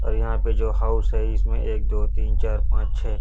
और यहां पे जो हाउस है इसमें एक दो तीन चार पांच छै--